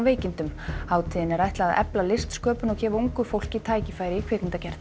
veikindum hátíðinni er ætlað að efla listsköpun og gefa ungu fólki tækifæri í kvikmyndagerð